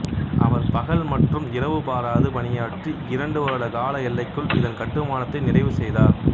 அவர் பகல் மற்றும் இரவு பாராது பணியாற்றி இரண்டு வருட கால எல்லைக்குள் இதன் கட்டுமானத்தை நிறைவு செய்தார்